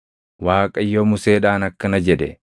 Waaqayyo Museedhaan akkana jedhe;